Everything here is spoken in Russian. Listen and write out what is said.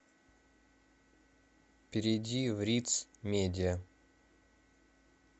перейди в риц медиа